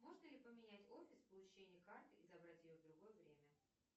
можно ли поменять офис получения карты и забрать ее в другое время